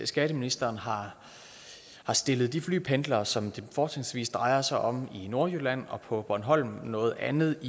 skatteministeren har stillet de flypendlere som det fortrinsvis drejer sig om i nordjylland og på bornholm noget andet